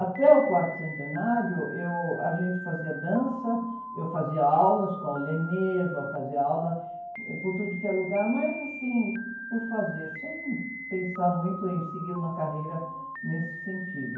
Até o quarto centenário, eu, a gente fazia dança, eu fazia aulas com a, fazia aula por tudo que é lugar, mas assim, por fazer, sem pensar muito em seguir uma carreira nesse sentido.